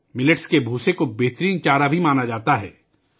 millet کے بھوسے کو بھی بہترین چارہ سمجھا جاتا ہے